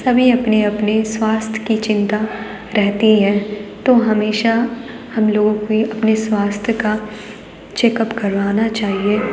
सभी अपने-अपने स्वास्थ्य की चिंता रहती है तो हमेशा हम लोगों को अपने स्वास्थ्य का चेकअप करवाना चाहिए।